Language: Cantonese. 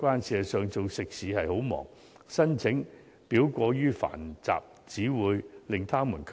事實上，經營食肆是很忙碌的，申請表過於繁雜，只會令業界卻步。